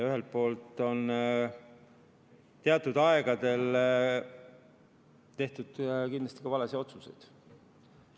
Ühelt poolt on teatud aegadel tehtud kindlasti ka valesid otsuseid.